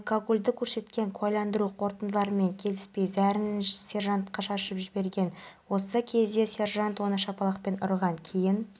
екі досалысқа жүзіп кетеді бір мезетте толқын пайда болып оның досы жағаға шығады ал ағыс оны